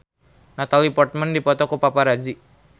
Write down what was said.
Natalie Portman dipoto ku paparazi